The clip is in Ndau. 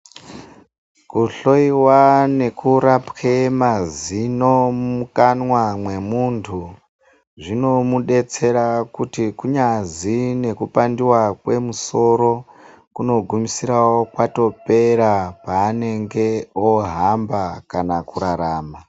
Kuhloyiwa nekurapwe mazino mumukanwa mwemuntu zvinomubetsera kuti kunyazi nekupandwa kwemusoro kunogumisirawo kwato pera paanenge ohamba kana kurarama.